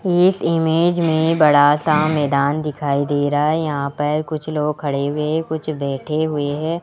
इस इमेज में बड़ा सा मैदान दिखाई दे रहा है यहां पर कुछ लोग खड़े हुए कुछ बैठे हुए है।